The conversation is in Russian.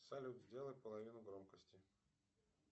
салют сделай половину громкости